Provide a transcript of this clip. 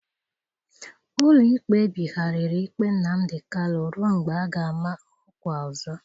Ụlọikpe a ebigharịrị ikpe Nnamdi Kalu ruo mgbe a ga-ama ọkwa ọzọ.